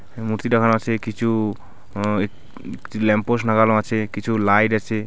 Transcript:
ম-মূর্তি লাগানো আছে কিছু অ্যা কিছু ল্যাম্পপোস্ট লাগানো আছে কিছু লাইট আছে.